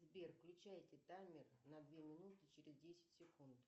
сбер включайте таймер на две минуты через десять секунд